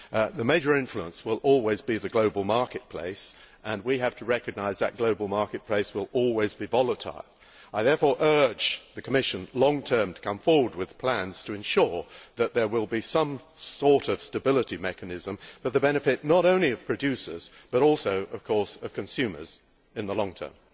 The major influence will always be the global marketplace, and we have to recognise that the global marketplace will always be volatile. I therefore urge the Commission in the long term to come forward with plans to ensure that there will be some sort of stability mechanism for the benefit not only of producers but also, of course, of consumers in the long term.